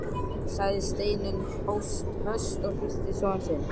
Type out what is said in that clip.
sagði Steinunn höst og hristi son sinn.